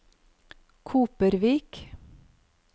Kopervik